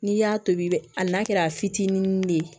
N'i y'a tobi i bɛ ali n'a kɛra fitinin de ye